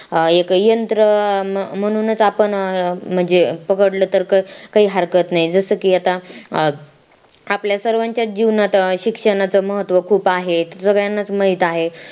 एक यंत्र म्हणून च आपण अं म्हणजे पकडलं तर काही हरकत नाही जसं की आता आपल्या सर्वांच्या जीवनात शिक्षणाचा महत्व खूप आहे सगळ्यांना च माहित आहे